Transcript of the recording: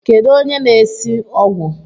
Kedu onye na-esi ogwụ?